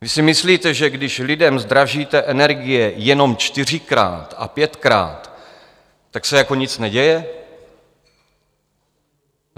Vy si myslíte, že když lidem zdražíte energie jenom čtyřikrát a pětkrát, tak se jako nic neděje?